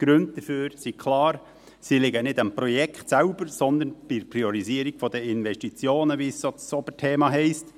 Die Gründe dafür sind klar, sie liegen nicht am Projekt selbst, sondern an der Priorisierung der Investitionen, wie das Oberthema heisst.